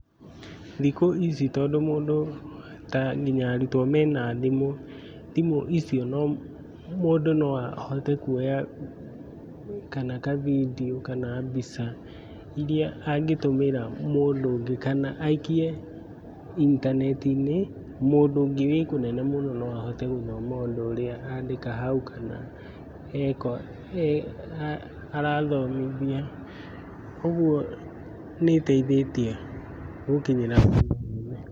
Thikũ ici tondũ mũndũ nginya arutwo mena thimũ, thimũ icio mũndũ no ahote kuoya video kana mbica iria angĩtũmĩra mũndũ kana aikie intaneti-inĩ. Mũndũ ũngĩ ũrĩ kũnene mũno no ahote gũthoma ũndũ ũrĩa andĩka hau kana arathomithia. ũguo nĩ ĩteithĩtie gũkinyĩra.